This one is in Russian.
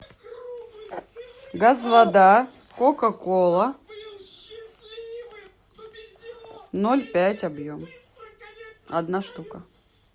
газ вода кока кола ноль пять объем одна штука